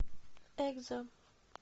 экзо